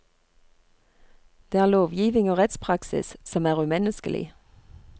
Det er lovgivning og rettspraksis som er umenneskelig.